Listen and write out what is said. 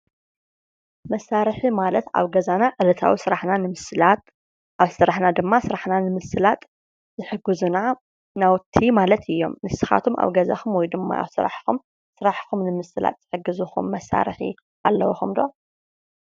መሳርሒ ማለት ናይ ሰባት ጉልበትን ከእለትን ተጠቂምና ስራሕትና ንምቅላል እንጥቀመሎም ነገራት እዮም።